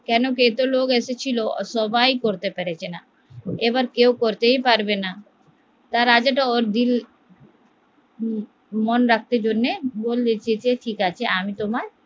কারণ এতো লোক এসেছিল সবাই করতে পারছেনা এবার কেউ করতেই পারবেনা তাই রাজাটা ওর দিল মন রাখতে বললে আমি তোমার